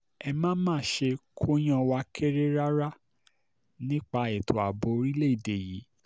ẹ má má ṣe kóyán wa kéré rárá nípa ètò àbò orílẹ̀‐èdè yìí